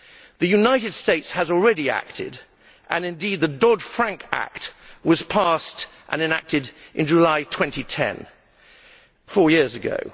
The United States has already acted, and indeed the Dodd Frank Act was passed and enacted in July 2010, four years ago.